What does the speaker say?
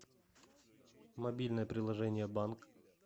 мобильное приложение банк